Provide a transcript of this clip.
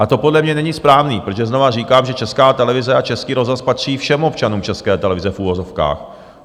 A to podle mě není správné, protože znova říkám, že Česká televize a Český rozhlas patří všem občanům České televize v uvozovkách.